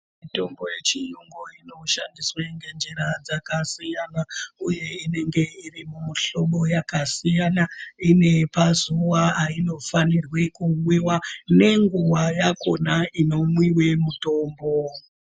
Mutombo yechiyungu inoshandiswa ngenjira dzakasiyana uye inenge irimuhlobo yakasiyana inepazuwa ayinofanirwa kumwimwa nenguwa yakona inomwiwe mitombo.